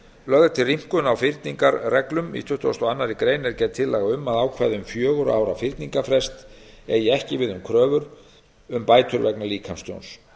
lögð er til rýmkun á fyrningarreglum í tuttugasta og aðra grein er gerð tillaga um að ákvæði um fjögurra ára fyrningarfrest eigi ekki við um kröfur um bætur vegna líkamstjóns